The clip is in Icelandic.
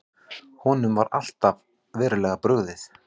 Honum hafi verið verulega brugðið.